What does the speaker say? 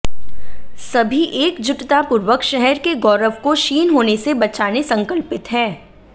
सभी एकजुटतापूर्वक शहर के गौरव को क्षीण होने से बचाने संकल्पित हैं